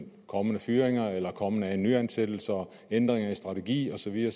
kommende fyringer eller kommende nyansættelser ændringer i strategien og så videre